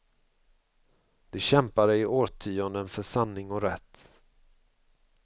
De kämpade i årtionden för sanning och rätt.